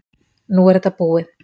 Nú er þetta búið.